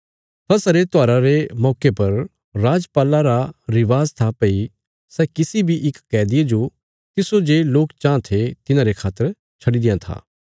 फसह रे त्योहारा रे मौके पर राजपाला रा रिवाज था भई सै किसी बी इक कैदिये जो तिस्सो जे लोक चाँह थे तिन्हांरे खातर छडी देआं था